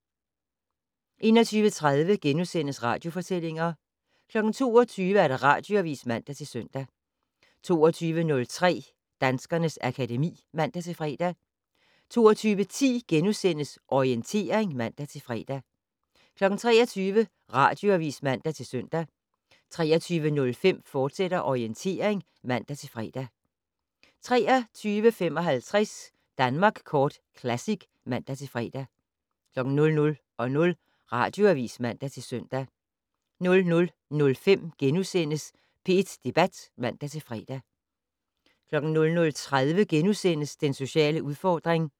21:30: Radiofortællinger * 22:00: Radioavis (man-søn) 22:03: Danskernes akademi (man-fre) 22:10: Orientering *(man-fre) 23:00: Radioavis (man-søn) 23:05: Orientering, fortsat (man-fre) 23:55: Danmark Kort Classic (man-fre) 00:00: Radioavis (man-søn) 00:05: P1 Debat *(man-fre) 00:30: Den sociale udfordring *